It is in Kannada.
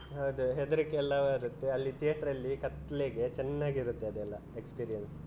ಅದೇ ಹೆದರಿಕೆ ಎಲ್ಲ ಬರುತ್ತೆ ಅಲ್ಲಿ theater ಅಲ್ಲಿ ಕತ್ಲೇಗೆ ಚೆನ್ನಾಗಿರುತ್ತೆ ಅದೆಲ್ಲ experience.